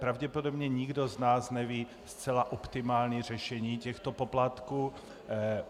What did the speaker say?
Pravděpodobně nikdo z nás neví zcela optimální řešení těchto poplatků.